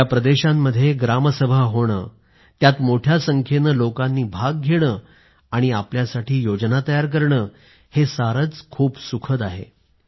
या प्रदेशांमध्ये ग्रामसभा होणं त्यात मोठ्या संख्येनं लोकांनी भाग घेणं आणि आपल्यासाठी योजना तयार करणं हे सारंच खूप सुखद आहे